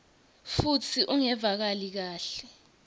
futsi ungevakali kahle